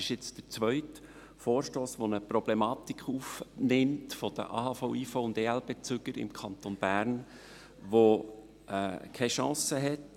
Es handelt sich um den zweiten Vorstoss, welcher eine Problematik der AHV-, IV- und EL-Bezüger im Kanton Bern aufnimmt und keine Chance hat.